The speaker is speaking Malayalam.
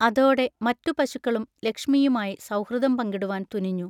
അതോടെ മറ്റു പശുക്കളും ലക്ഷ്മിയുമായി സൗഹൃദം പങ്കിടുവാൻ തുനിഞ്ഞു.